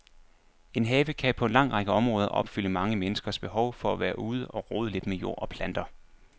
En have kan på en lang række områder opfylde mange menneskers behov for at være ude og rode lidt med jord og planter.